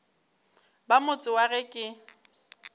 ba motse wa ge ke